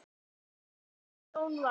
Þinn Jón Valur.